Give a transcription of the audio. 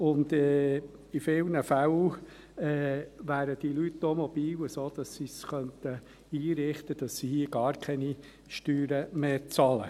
In vielen Fällen wären diese Leute auch mobil, sodass sie es sich so einrichten könnten, dass sie hier gar keine Steuern mehr bezahlen.